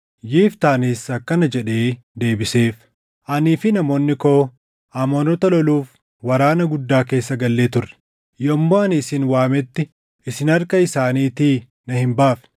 Yiftaanis akkana jedhee deebiseef; “Anii fi namoonni koo Amoonota loluuf waraana guddaa keessa gallee turre; yommuu ani isin waametti isin harka isaaniitii na hin baafne.